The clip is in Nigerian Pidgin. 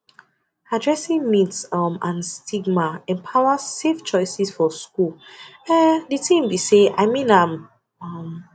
addressing myths um and stigma empowers safe choices for schools um de tin be say i mean um